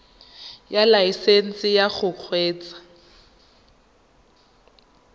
ya laesesnse ya go kgweetsa